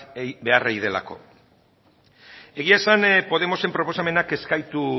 egin behar delako egia esan podemosen proposamenak ez gaitu